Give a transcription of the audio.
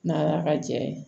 Nala ka jɛ ye